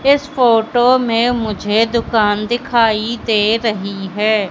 इस फोटो में मुझे दुकान दिखाई दे रही है।